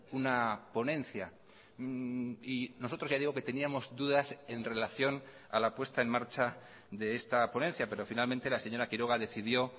una ponencia y nosotros ya digo que teníamos dudas en relación a la puesta en marcha de esta ponencia pero finalmente la señora quiroga decidió